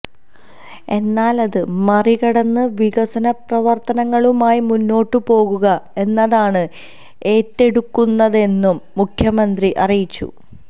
എന്നാല് അത് മറികടന്ന് വികസനപ്രവര്ത്തനങ്ങളുമായി മുന്നോട്ട് പോകുക എന്നതാണ് ഏറ്റെടുക്കുന്നതെന്നും മുഖ്യമന്ത്രി അറിയിച്ചു